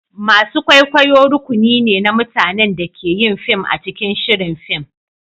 masu kwaikwayo rukuni ne na mutanen da ke yin fim a cikin shirin fim.